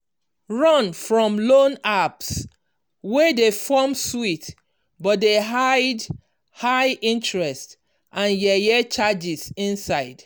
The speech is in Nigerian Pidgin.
run from loan apps wey dey form sweet but dey hide high interest and yeye charges inside.